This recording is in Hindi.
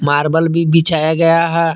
मार्बल भी बिछाया गया है।